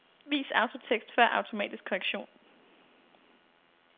Vis autotekst før automatisk korrektion.